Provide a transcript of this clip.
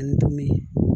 Ni dumuni